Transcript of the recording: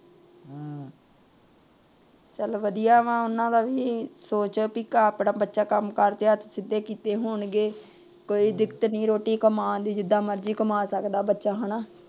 ਚਾਲ ਵਧੀਆ ਵ ਉਹਨਾਂ ਦਾ ਵੀ ਇਹੀ ਸੋਚ ਏ ਆਪਣਾ ਬੱਚਾ ਕੰਮ ਕਰ ਕੇ ਹੱਥ ਸਿੱਧੇ ਕੀਤੇ ਹੋਣਗੇ। ਕੋਈ ਦਿੱਕਤ ਨਹੀਂ ਰੋਟੀ ਕਮਾਣ ਦੀ ਜਿਥਾਂ ਮਰਜ਼ੀ ਕਮਾ ਸਕਦਾ ਬੱਚਾ ਹਣਾ।